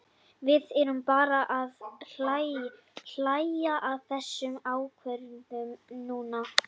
Við erum bara að hlæja að þessum ákvörðunum núna.